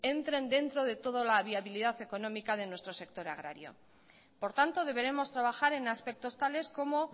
entren dentro de toda la viabilidad económica de nuestro sector agrario por tanto deberemos trabajar en aspectos tales como